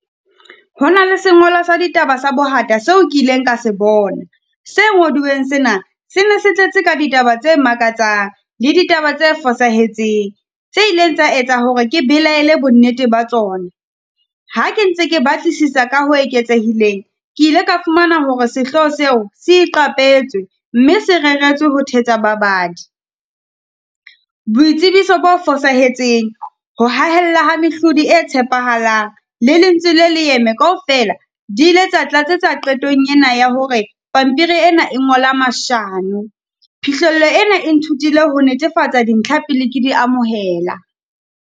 Hona le sengolwa sa ditaba sa bohata seo ke ileng ka se bona, se ngodiweng sena, se ne se tletse ka ditaba tse makatsang le ditaba tse fosahetseng, tse ileng tsa etsa hore ke belaele bonnete ba tsona. Ha ke ntse ke batlisisa ka ho eketsehileng, ke ile ka fumana hore sehloho seo, se iqapetswe mme se reretswe ho thetsa babadi. Boitsebiso bo fosahetseng, ho hahella ha mehlodi e tshepahalang le lentswe le leeme kaofela, di ile tsa tlatsetswa qetong ena ya hore pampiri ena e ngola mashano. Phihlello ena e ithutile ho netefatsa dintlha pele ke di amohela.